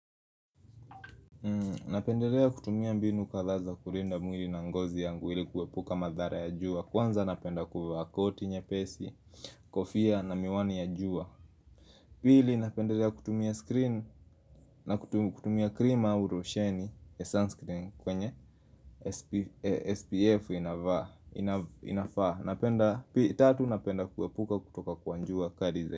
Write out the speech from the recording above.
Napendelea kutumia mbinu kadhaa za kulinda mwili na ngozi yangu ili kuepuka madhara ya jua kwanza napenda kuvaa koti nyepesi, kofia na miwani ya jua Pili napendelea kutumia screen na kutumia cream au losheni ya sunscreen kwenye SPF inafaa Napenda tatu napenda kuepuka kutoka kwa jua kali.